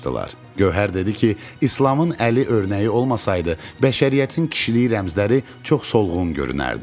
Gövhər dedi ki, İslamın Əli örnəyi olmasaydı, bəşəriyyətin kişiliyi rəmzləri çox solğun görünərdi.